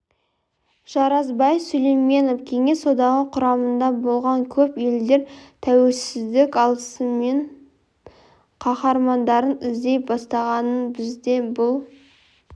жарасбай сүлейменов кеңес одағы құрамында болған көп елдер тәуелсіздік алысымен қахармандарын іздей бастағанын бізде бұл